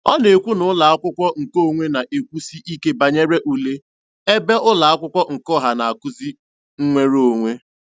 Ọ na-ekwu na ụlọakwụkwọ nke onwe na-ekwusi ike banyere ule, ebe ụlọakwụkwọ nke ọha na-akụzi nwereonwe.